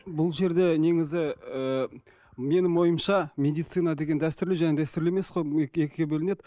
бұл жерде негізі ыыы менің ойымша медицина деген дәстүрлі және дәстүрлі емес қой екіге бөлінеді